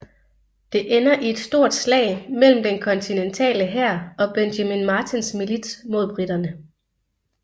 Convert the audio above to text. Det ender i et stort slag mellem den kontinentale hær og Benjamin Martins milits mod briterne